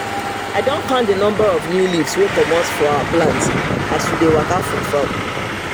i don count the number of new leaves wey comot for our plant as we dey waka for farm